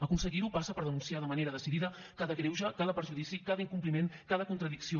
aconseguir ho passa per denunciar de manera decidida cada greuge cada perjudici cada incompliment cada contradicció